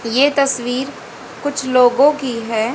ये तस्वीर कुछ लोगों की है।